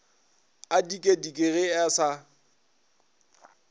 a dikedike ge a sa